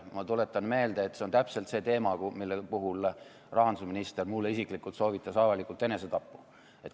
Ma tuletan meelde, et see on täpselt see teema, mille puhul rahandusminister mulle isiklikult soovitas avalikult enesetappu.